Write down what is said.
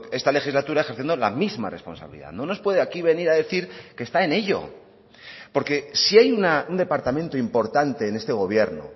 esta legislatura ejerciendo la misma responsabilidad no nos puede aquí venir a decir que está en ello porque si hay un departamento importante en este gobierno